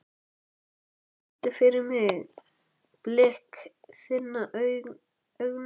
Karl, syngdu fyrir mig „Blik þinna augna“.